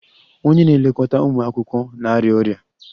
Ònye na-elekọta ụmụ akwụkwọ na-arịa ọrịa?